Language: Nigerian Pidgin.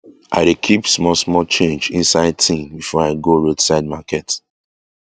i dey keep small small change inside tin before i go roadside market